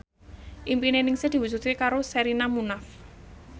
impine Ningsih diwujudke karo Sherina Munaf